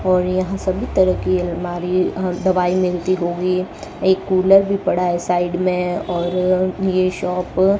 और यहां सभी तरह की अलमारी अ दवाई मिलती होगी एक कूलर भी पड़ा है साइड में और ये शॉप --